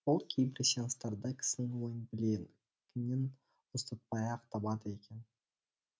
ол кейбір сеанстарда кісінің ойын білегінен ұстатпай ақ табады екен